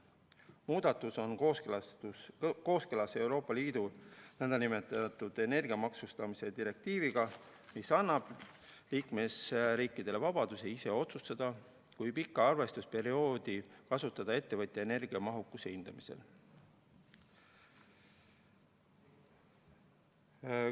Muudatus on kooskõlas Euroopa Liidu nn energiamaksustamise direktiiviga, mis annab liikmesriikidele vabaduse ise otsustada, kui pikka arvestusperioodi kasutada ettevõtja energiamahukuse hindamisel.